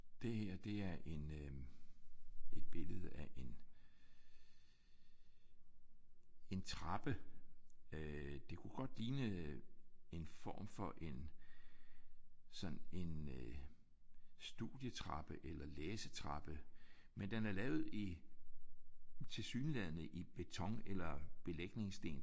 Det her det er en øh et billede af en en trappe. Øh det kunne godt ligne øh en form for en sådan en studietrappe eller læsetrappe men den er lavet i tilsyneladende i beton eller belægningssten